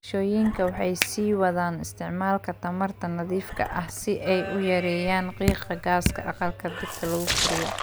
Bulshooyinka waxay sii wadaan isticmaalka tamarta nadiifka ah si ay u yareeyaan qiiqa gaaska aqalka dhirta lagu koriyo.